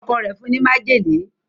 Ọkọ rẹ fún ní májèlé.